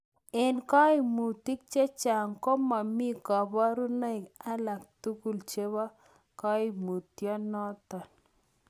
En koimutik chechang' komomi koborunoik alak tugul chebo koimutioniton.